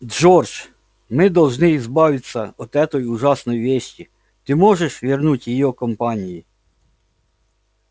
джордж мы должны избавиться от этой ужасной вещи ты можешь вернуть её компании